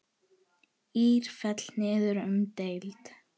ÍR féll niður um deild.